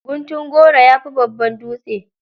Guntun goro, ya fi babban dutse.